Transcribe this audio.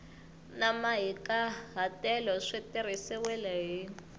na mahikahatelo swi tirhisiwile hi